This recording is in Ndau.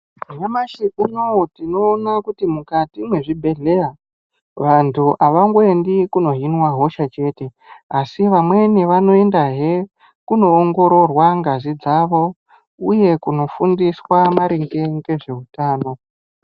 Nyamashi unowu tinoona kuti mukati mwezvibhedhleya vantu avangoendi kunohinwa hosha chete asi vamweni vanoendahe kunoongororwa ngazi dzavo uye kundofundiswa maringe ngezveutano.